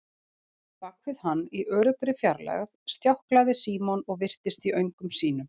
Bak við hann, í öruggri fjarlægð, stjáklaði Símon og virtist í öngum sínum.